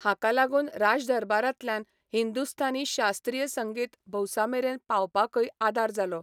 हाका लागून राजदरबारांतल्यान हिंदुस्थानी शास्त्रीय संगीत भौसामेरेन पावपाकय आदार जालो.